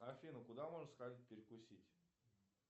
афина куда можно сходить перекусить